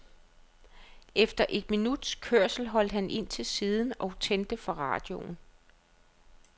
Efter et minuts kørsel holdt han ind til siden og tændte for radioen.